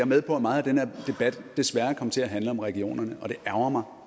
med på at meget af den her debat desværre kom til at handle om regionerne og det ærgrer mig